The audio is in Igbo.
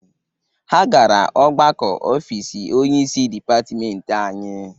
Ha gara ọgbakọ ofiisi onyeisi dịpatịmentị anyị.